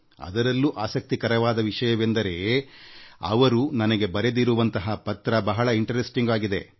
ಅದರಲ್ಲೂ ಆಸಕ್ತಿಕರವಾದ ವಿಷಯವೆಂದರೆ ಅವರು ನನಗೆ ಬರೆದಿರುವಂಥ ಪತ್ರದ ಸಾಲು ಬಹಳ ಆಸಕ್ತಿದಾಯಕವಾಗಿದೆ